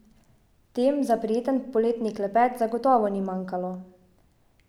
Tem za prijeten poletni klepet zagotovo ni manjkalo.